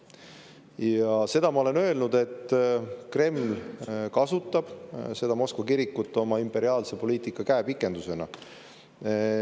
Ja seda ma olen öelnud, et Kreml kasutab seda Moskva kirikut oma imperialistliku poliitika käepikendusena.